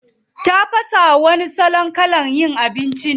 Tafasawa wani salon kalan yin abinci ne.